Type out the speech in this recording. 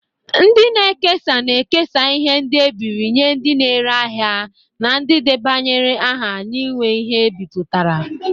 Ndị na-ekesa na-ekesa ihe ndi ebiri nye ndị na-ere ahịa na ndị debanyere aha inwe ihe ndi ebiputara.